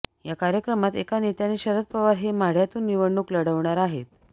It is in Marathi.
या कार्यक्रमात एका नेत्याने शरद पवार हे माढ्यातून निवडणूक लढवणार आहेत